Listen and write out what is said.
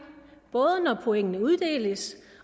både når pointene uddeles